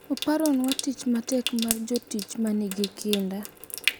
Oparonwa tich matek mar jotich ma nigi kinda,